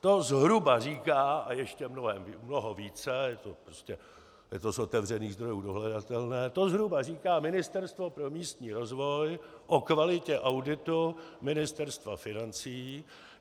- To zhruba říká a ještě mnoho více, je to z otevřených zdrojů dohledatelné, to zhruba říká Ministerstvo pro místní rozvoj o kvalitě auditu Ministerstva financí.